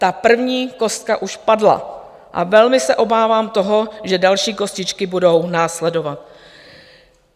Ta první kostka už padla a velmi se obávám toho, že další kostičky budou následovat.